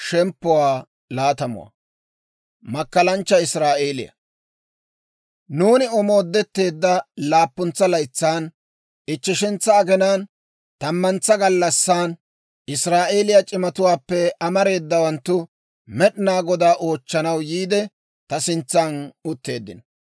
Nuuni omoodetteedda laappuntsa laytsan, ichcheshantsa aginaan, tammantsa gallassan, Israa'eeliyaa c'imatuwaappe amareedawanttu Med'inaa Godaa oochchanaw yiide, ta sintsan utteeddino.